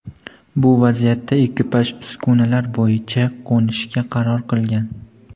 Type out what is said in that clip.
Bu vaziyatda ekipaj uskunalar bo‘yicha qo‘nishga qaror qilgan.